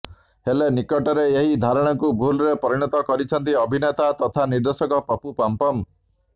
ହେଲେ ନିକଟରେ ଏହି ଧାରଣାକୁ ଭୁଲରେ ପରିଣତ କରିଛନ୍ତି ଅଭିନେତା ତଥା ନିର୍ଦ୍ଦେଶକ ପପୁ ପମପମ